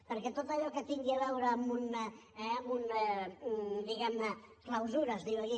perquè tot allò que tingui a veure amb una diguem ne clausura es diu aquí